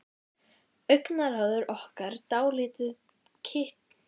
Augnaráðið orkar dálítið kitlandi á hana.